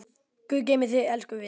Guð geymi þig, elsku vinur.